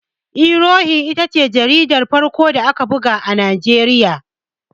Iwe Irohin ita ce jaridar farko da aka buga a Najeriya.